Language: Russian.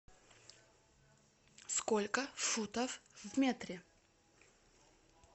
сколько футов в метре